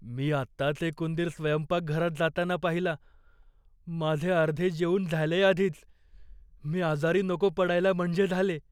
मी आत्ताच एक उंदीर स्वयंपाकघरात जाताना पाहिला. माझे अर्धे जेवून झालेय आधीच. मी आजारी नको पडायला म्हणजे झाले.